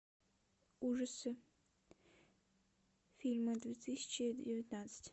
ужасы фильмы две тысячи девятнадцать